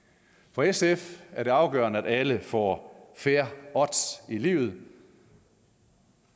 for sf er det afgørende at alle får fair odds i livet